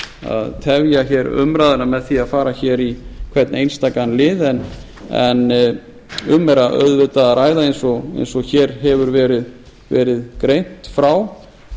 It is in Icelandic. að tefja umræðuna með því að fara í hvern einstakan lið en um er auðvitað að ræða eins og hér hefur verið greint frá